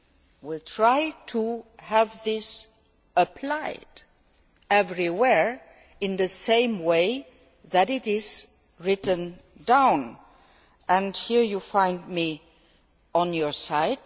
We will try to have this applied everywhere in the same way as it is written down, and here you find me on your side.